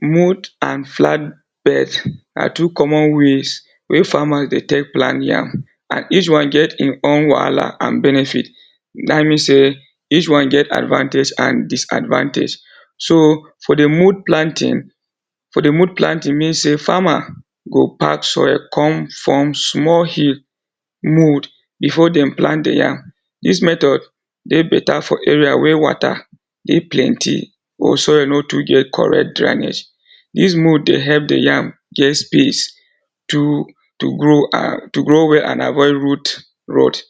Mould and flat bed na two common ways wey farmers dey take plant yam and each one get e own wahala and benefit dat mean sey each one get advantage and disadvantage. So for the mould planting, for de mould planting mean sey farmer go pack soil come form small hill mould before dem plant di yam. Dis method dey better for area wey water dey plenty or soil no too get correct drainage, Dis mould the help di yam get space to to grow well and avoid root rot.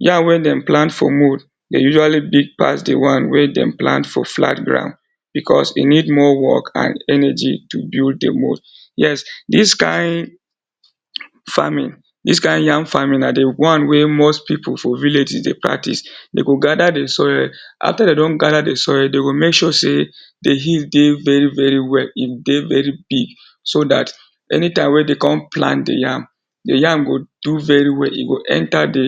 Yam wey dem plant for mould dey usually big pass di one wey dem plant for flat ground because e need more work and energy to build di mould. Yes, dis kain farming, dis kain yam farming na di one wey most people for villages dey practice. Dey go gather di soil, after dem don gather the soil, dey go make sure sey di hill dey very very well, e dey very big so dat anytime wey dey come plant the yam, di yam go do very well e go enter the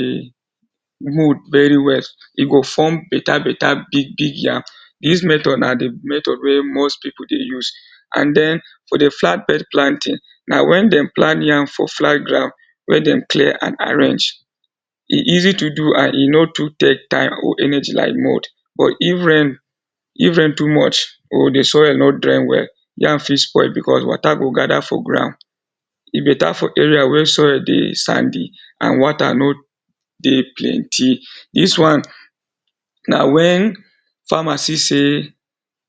mould very well e go form better better big big yam. Dis method na the method wey most people dey use and then for the flat bed planting na when dem plant yam for flat ground, where dem clear and arrange. E easy to do and e no too take time or energy like mould or if rain too much or di soil no drain well yam fit spoil because water go gather for ground, e better for area where soil dey sandy and water no dey plenty. Dis one na when farmer see sey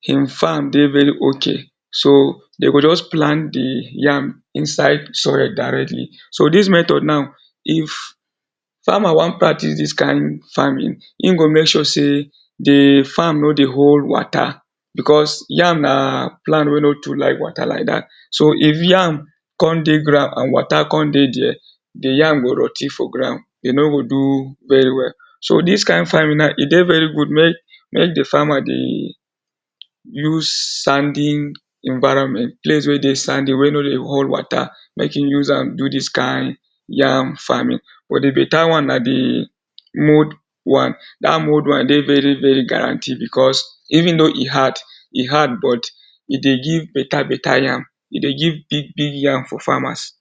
im farm dey very okay, so de go just plant dey yam inside soil directly. So dis method now, if farmer wan practice dis kain farming, e go make sure sey dey farm no dey hold water because yam na plant wey no too like water like dat, so if yam come dey ground and water come dey dia dey yam go rot ten for ground, e no go do very well. So dis kain farming now dey very good make di farmer dey use sandy evironment dey place wey dey sandy wey no dey hold water make im use am do dis kain yam farming but di better one na dey mould one. Dat mould one dey very very guaranteed because even though e hard, e hard but e dey give better better yam, e dey give big big yam for farmers.